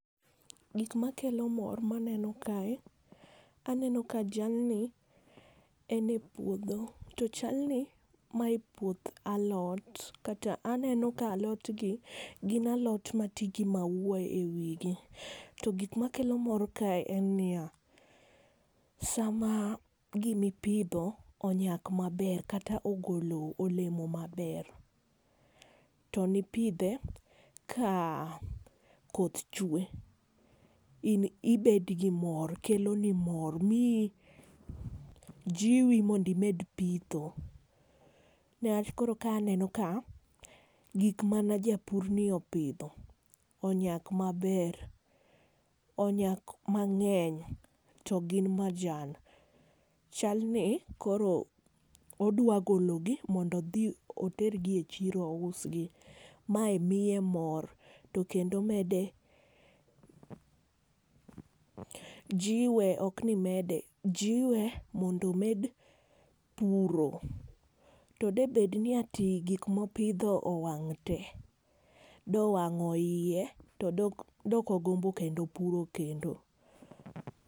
Gik makelo mor maneno kae, aneno ka jalni ene puodho to chalni mae puoth alot kata aneno ka alotgi gin alot matigi ,maua ewigi. To gik makelo mor kae en nia, sama gima ipidho onyak maber kata ogolo olemo maber to ni pidhe kaa koth chue ibedgi mor keloni mor miyi jiwi mondo imed pitho. Newach koro ka aneno ka gik mane japurni opidho onyak maber onyak mang'eny to gin majan. Chalni koro odwa gologi mondo odhi otergi echiro ousgi. Mae miye mor to kendo mede jiwe ok ni mede jiwe mondo omed puro. To de bedni ati gik mopidho owang'te dowang'o iye to dok do ok ogombo kendo puro kendo.